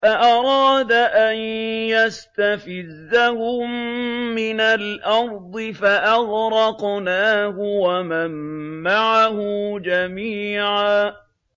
فَأَرَادَ أَن يَسْتَفِزَّهُم مِّنَ الْأَرْضِ فَأَغْرَقْنَاهُ وَمَن مَّعَهُ جَمِيعًا